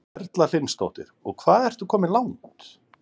Erla Hlynsdóttir: Og hvað ertu komin langt?